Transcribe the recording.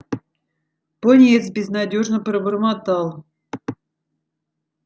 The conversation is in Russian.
пониетс безнадёжно пробормотал